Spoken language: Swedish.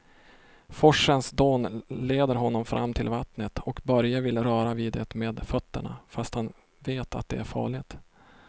Forsens dån leder honom fram till vattnet och Börje vill röra vid det med fötterna, fast han vet att det är farligt.